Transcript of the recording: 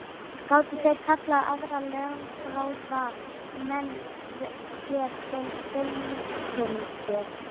Gátu þeir kallað aðra lögfróða menn sér til fulltingis.